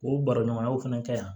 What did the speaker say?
O baraɲɔgɔnya fana ka